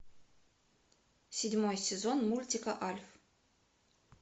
седьмой сезон мультика альф